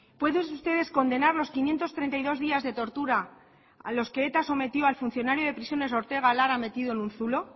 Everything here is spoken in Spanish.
pueden ustedes condenar los quinientos treinta y dos días de tortura a los que eta sometió al funcionario de prisiones ortega lara metido en un zulo